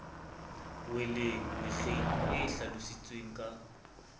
weleng mekgeng e hlalositsweng ka